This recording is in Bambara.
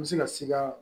N bɛ se ka sika